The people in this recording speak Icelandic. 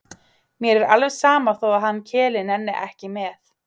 Mér er alveg sama þó að hann Keli nenni ekki með.